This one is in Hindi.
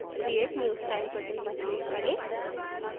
create new style button पर click करें